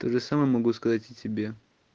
тоже самое могу сказать и тебе